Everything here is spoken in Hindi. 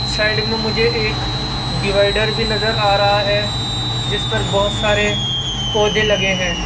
साइड में मुझे एक डिवाइडर भी नज़र आ रहा है जिसपर बहुत सारे पौधे लगे हैं।